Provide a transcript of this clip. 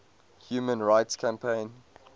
human rights campaign